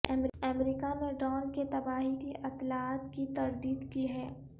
امریکہ نے ڈرون کی تباہی کی اطلاعات کی تردید کی ہے